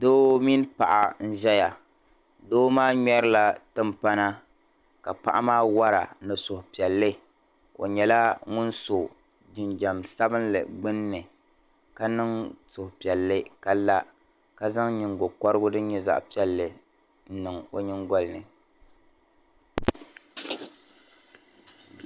Doo mini paɣa n-ʒeya doo maa ŋmɛrila timpana ka paɣa maa wara ni suhupiɛlli o nyɛla ŋun so jinjam sabinli gbunni ka niŋ suhupiɛlli ka la ka zaŋ nyingɔkɔrigu din nyɛ zaɣ'piɛlli n-niŋ o nyiŋgɔli ni.